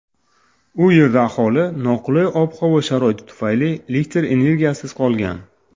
u yerda aholi noqulay ob-havo sharoiti tufayli elektr energiyasiz qolgan.